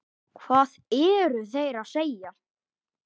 Hvað eru þeir að segja?